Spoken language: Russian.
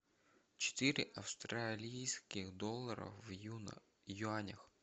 четыре австралийских доллара в юанях